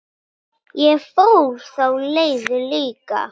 Ég fór þá leið líka.